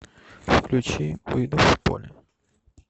включи выйду в поле